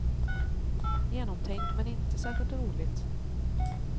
Genomtänkt, men inte särskilt roligt.